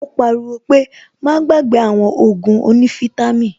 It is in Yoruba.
Ó pariwo pé "Má gbàgbé àwọn Ògùn onífítàmì"